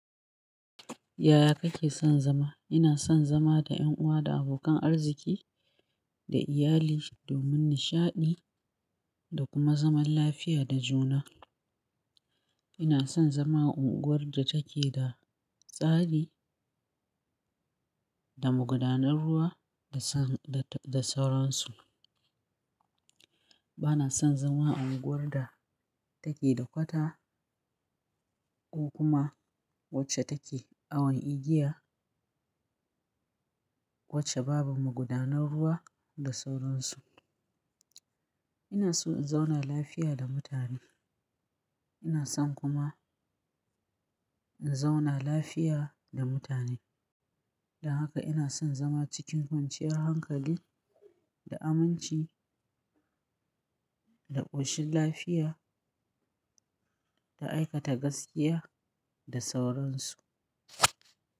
Yaya kake son zama? Ina son zama da 'yan uwa da abokan arziki da iyali domin nishaɗi da kuma zaman lafiya da juna. Ina son zama unguwar da take da tsari da magudanar ruwa da, da, da sauransu. Bana son zama a unguwar da take da kwata ko kuma wacce take awon igiya, wacce babu magudanar ruwa da sauransu. Ina so in zauna lafiya da mutane. Ina son kuma in zauna lafiya da mutane. Don haka ina son zama cikin kwanciyar hankali da aminci da ƙoshin lafiya da aikata gaskiya da sauransu.